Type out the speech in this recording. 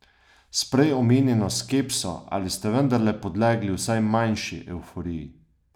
S prej omenjeno skepso ali ste vendarle podlegli vsaj manjši evforiji?